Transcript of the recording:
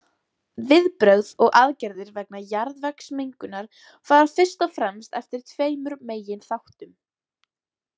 Viðbrögð og aðgerðir vegna jarðvegsmengunar fara fyrst og fremst eftir tveimur meginþáttum.